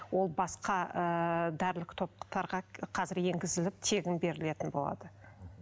ол басқа ыыы дәрілік топтарға қазір енгізіліп тегін берілетін болады